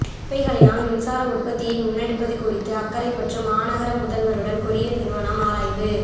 குப்பைகளினால் மின்சார உற்பத்தியை முன்னெடுப்பது குறித்து அக்கரைப்பற்று மாநகர முதல்வருடன் கொரிய நிறுவனம் ஆராய்வு